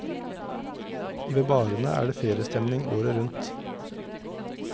Ved barene er det feriestemning året rundt.